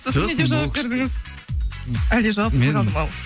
сосын не деп жауап бердіңіз әлде жауапсыз қалды ма ол